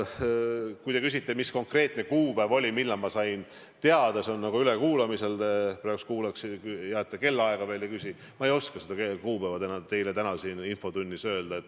Kui te küsite, mis oli see konkreetne kuupäev, millal ma sain sellest teada – see on nagu ülekuulamisel, hea, et te veel kellaaega ei küsi –, siis ma ei oska seda kuupäeva teile täna siin infotunnis öelda.